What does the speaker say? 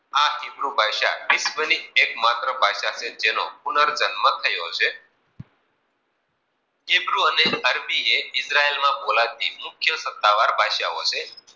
આ ઈર્ભૂ ભાષા વિશ્વ ની એક માત્ર ભાષા છે. જેનો પુનઃ જન્મ થયો છે. ઈબ્રું અને અરબી યે બોલાતી મુખ્ય સતાવાર ભાષાઓ છે.